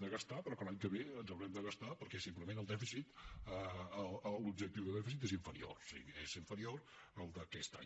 de gastar però que l’any que ve ens haurem de gastar perquè simplement l’objectiu de dèficit és inferior sí és inferior al d’aquest any